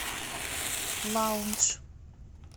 лаундж